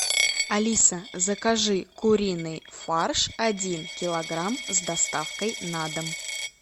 алиса закажи куриный фарш один килограмм с доставкой на дом